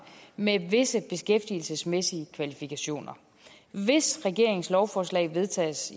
med visse beskæftigelsesmæssige kvalifikationer hvis regeringens lovforslag vedtages